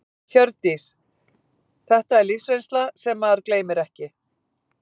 Hjördís: Þetta er lífsreynsla sem maður gleymir ekki?